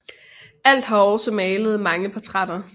Alt har også malet mange portrætter